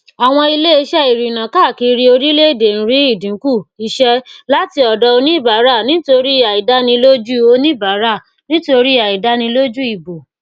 àwọn iléiṣẹ ìrìnà káàkiri orílẹèdè ń rí ìdínkù iṣẹ láti ọdọ oníbàárà nítorí àìdánilójú oníbàárà nítorí àìdánilójú ìbò